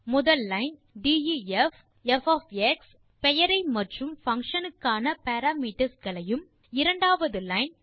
முதல் line def of x பெயரை மற்றும் பங்ஷன் க்கான பாராமீட்டர்ஸ் களையும் இரண்டாவது லைன்